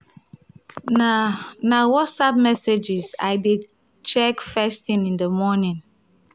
na na whatsapp messages i dey check first thing in the morning